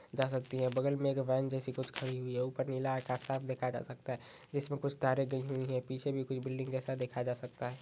जा सकती है बगल में एक वैन जैसी कुछ खड़ी हुई है ऊपर नीला आकाश साफ देखा जा सकता है जिसमें कुछ तारे गई हुई हैं पीछे भी कुछ बिल्डिंग जैसा देखा जा सकता है।